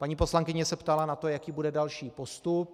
Paní poslankyně se ptala na to, jaký bude další postup.